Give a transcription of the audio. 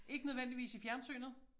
Ikke nødvendigvis i fjernsynet?